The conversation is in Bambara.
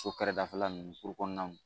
So kɛrɛdafɛla nunnu kɔnɔnaw.